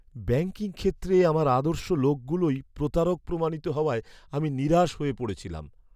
Banking ক্ষেত্রে আমার আদর্শ লোকগুলোই প্রতারক প্রমাণিত হওয়ায় আমি নিরাশ হয়ে পড়েছিলাম।